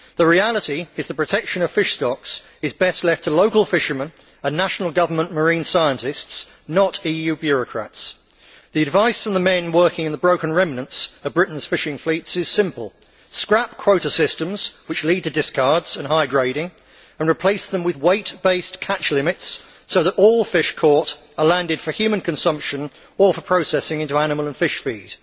The reality is that the protection of fish stocks is best left to local fishermen and national government marine scientists, not EU bureaucrats. The advice from the men working in the broken remnants of Britain's fishing fleets is simple scrap quota systems, which lead to discards and high grading, and replace them with weight based catch limits so that all fish caught are landed for human consumption or for processing into animal and fish feed.